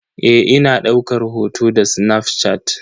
Eh ina daukar hoto da snafshat.